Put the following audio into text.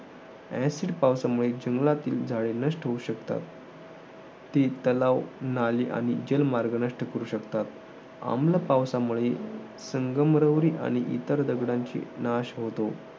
Acid पावसामुळे जंगलातील झाले नष्ट होऊ शकतात. ती तलाव, नाली आणि जलमार्ग नष्ट करू शकतात. आम्ल पावसामुळे संगमरवरी आणि इतर दगडांची नाश होतो.